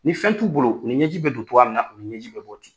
Ni fɛn t'u bolo u ni ɲɛji bɛ don cogoya min na u ni ɲɛji bɛ bɔ ten.